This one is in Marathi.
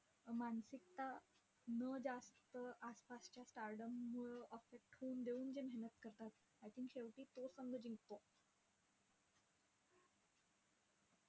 मानसिकता न जास्त आसपासच्या stardom मुळे affect होऊ न देऊन जे मेहनत करतात, I think शेवटी तो संघ जिंकतो.